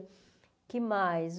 O que mais?